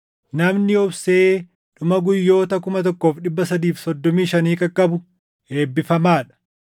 Namni obsee dhuma guyyoota 1,335 qaqqabu eebbifamaa dha.